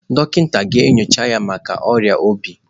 Dọkịta ị ga-enyocha ya maka ọrịa obi?